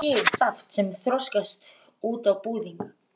Úr þeim bý ég saft sem þroskast út á búðing.